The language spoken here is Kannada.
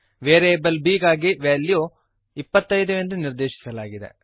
ವೇರಿಯೇಬಲ್ b ಗಾಗಿ ವೆಲ್ಯೂ 25 ಎಂದು ನಿರ್ದೇಶಿಸಲಾಗಿದೆ